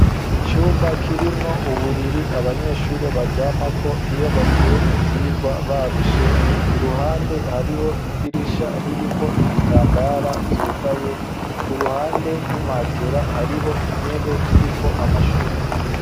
Icumba kirimwo uburiri abanyeshuri baryamako iyo bavuye mu vyirwa barushe iruhande hariho idirisha ririko ibitambara vyugaye ku ruhande y'imatera hariho intebe iriko amashuka.